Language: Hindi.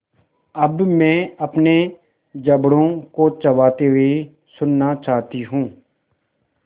अब मैं अपने जबड़ों को चबाते हुए सुनना चाहती हूँ